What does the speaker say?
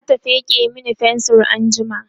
zata feke Mani fensir anjima